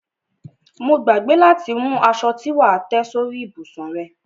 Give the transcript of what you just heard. Mo gbàgbé láti mú aṣo tí wà á tẹ́ sórí ìbùsùn rẹ.